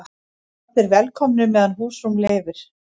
Allir velkomnir meðan húsrúm leyfir